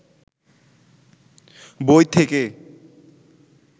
বই থেকে